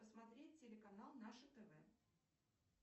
посмотреть телеканал наше тв